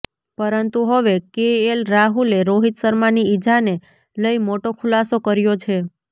પરંતુ હવે કેએલ રાહુલે રોહિત શર્માની ઇજાને લઇ મોટો ખુલાસો કર્યો છે